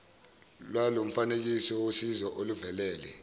lwalomfanekiso wosizo oluvelele